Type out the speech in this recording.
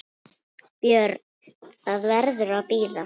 BJÖRN: Það verður að bíða.